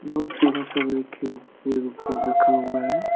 बहुत सारा सब रखे ऊपर रखा हुआ है।